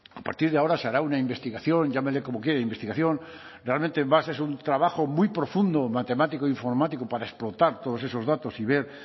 a partir de ahora se hará una investigación llámele como quiera investigación realmente es más un trabajo muy profundo matemático informático para explotar todos esos datos y ver